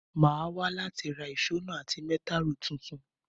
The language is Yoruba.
Mo máa wa láti ra ìso náà àti meter rule tuntun